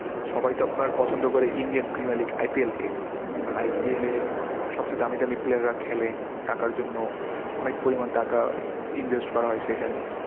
সবাই তো আপনার পছন্দ করে Indian Premiar League IPL কে। কারণ IPL এ সবচেয়ে দামি দামি player রা খেলে টাকার জন্য। অনেক পরিমান টাকা invest করা হয় সেখানে।